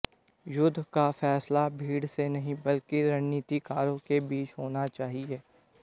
युद्ध का फैसला भीड़ से नहीं बल्कि रणनीतिकारों के बीच होना चाहिए